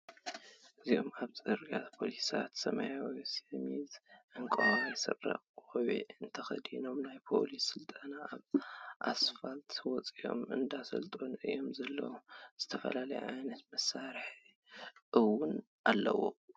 እዞም ኣብዚ ፅርግያ ፖሊሳት ሰማያዊ ሸሚዝ ፣ዕንቆዋይ ስረን ቆቢዕን ተከዲኖ ናይ ፖሊስ ስልጠና ኣብ ኣስፋል ወፂኦም እንዳሰልጠኑ እዮም ዘለው ዝተፈላለዩ ዓይነታት መሳሪሒታት እወን ኣለው።